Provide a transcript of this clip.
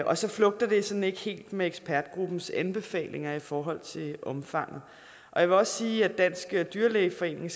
og så flugter det sådan ikke helt med ekspertgruppens anbefalinger i forhold til omfanget jeg vil også sige at dansk dyrlægeforening